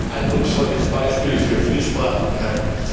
Sie sind ein eindrucksvolles Beispiel für Vielsprachigkeit.